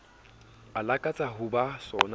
a lakatsang ho ba sona